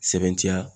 Sɛbɛntiya